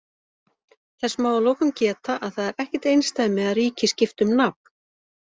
Þess má að lokum geta að það er ekkert einsdæmi að ríki skipti um nafn.